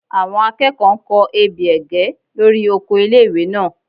Àwọn akẹ́kọ̀ọ́ n kọ ebè ẹ̀gẹ́ lórí oko ilé-ìwé náà